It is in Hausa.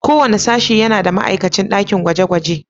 Kowane sashe yana da ma'aikacin dakin gwaje-gwaje.